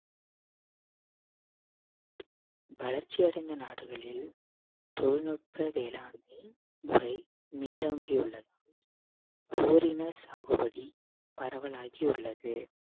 வளர்ச்சி அடைந்த நாடுகளில் தொழில்நுட்ப வேளாண்மை முறை மேலோங்கி உள்ளது ஓரின சாகுபடி பரவலாகி உள்ளது